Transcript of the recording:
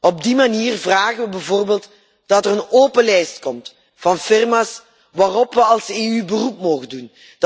Op die manier vragen we bijvoorbeeld dat er een open lijst komt van firma's waarop we als EU een beroep mogen doen.